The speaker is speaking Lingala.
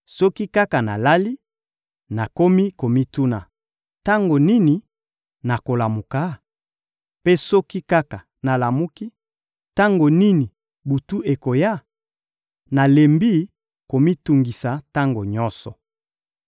Soki kaka nalali, nakomi komituna: ‹Tango nini nakolamuka?› Mpe soki kaka nalamuki: ‹Tango nini butu ekoya?› Nalembi komitungisa tango nyonso.